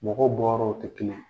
Mɔgɔw bɔyɔrɔw tɛ kelen ye,